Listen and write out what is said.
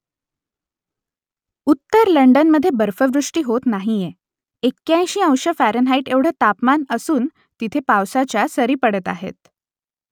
उत्तर लंडनमधे बर्फवृष्टी होत नाहीये एक्क्याऐंशी अंश फॅरनहाईट एवढं तापमान असून तेथे पावसाच्या सरी पडत आहेत